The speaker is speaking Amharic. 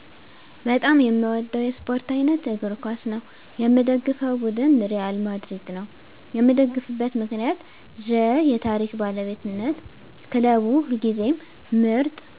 በጣም የምወደው የስፓርት አይነት እግር ኳስ ነው። የምደግፈው ቡድን ሪያል ማድሪድ ነው። የምደግፍበት ምክንያት ዠ የታሪክ ባለቤትነት ክለቡ ሁልጊዜም ምርጥ